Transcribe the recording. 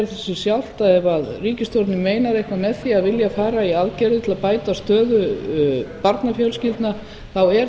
segir það sig sjálft ef ríkisstjórnin meinar eitthvað með því að vilja fara í aðgerðir til að bæta stöðu barnafjölskyldna þá er